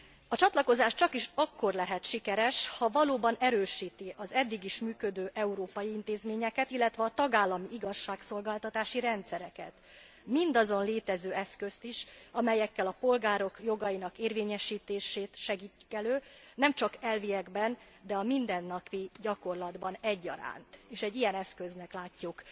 A csatlakozás csakis akkor lehet sikeres, ha valóban erősíti az eddig is működő európai intézményeket, illetve a tagállami igazságszolgáltatási rendszereket, mindazon létező eszközt is, amelyekkel a polgárok jogainak érvényesítését segítik elő, nem csak elviekben, de a mindennapi gyakorlatban egyaránt, és egy ilyen eszköznek látjuk